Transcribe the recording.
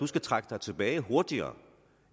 skal trække sig tilbage hurtigere